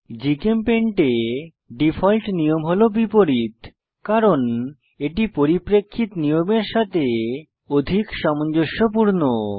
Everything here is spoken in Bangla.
জিচেমপেইন্ট এ ডিফল্ট নিয়ম হল বিপরীত কারণ এটি পরিপ্রেক্ষিত নিয়মের সাথে অধিক সামঞ্জস্যপূর্ণ